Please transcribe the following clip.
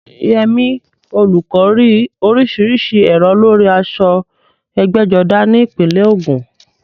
Yemi, olùkọ́, rí oríṣiríṣi èrò lórí aṣọ ẹgbẹ́jọdá ní ìpínlẹ̀ Ògùn.